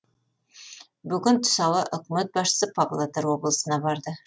бүгін түс ауа үкімет басшысы павлодар облысына барды